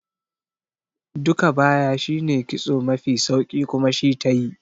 Duka baya shine kitso mafi sauki kuma shi tayi